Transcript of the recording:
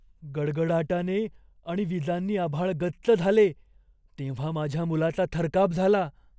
गडगडाटाने आणि विजांनी आभाळ गच्च झाले तेव्हा माझ्या मुलाचा थरकाप झाला.